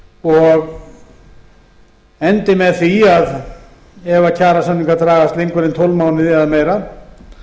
og endi með því ef kjarasamningar dragast lengur en tólf mánuði eða meira